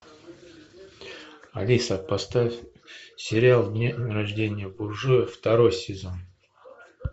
алиса поставь сериал день рождения буржуя второй сезон